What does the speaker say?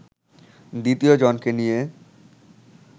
দ্বিতীয় জনকে নিয়ে